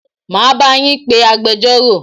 Máa bá yín pé agbẹjọ́rò.